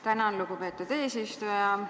Tänan, lugupeetud eesistuja!